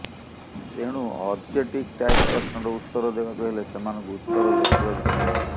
ତେଣୁ objective type ପ୍ରଶ୍ନର ଉତ୍ତର ଦେବାକୁ ହେଲେ ସେମାନଙ୍କୁ ଉତ୍ତର ଲେଖିବାକୁ ପଡ଼ିବ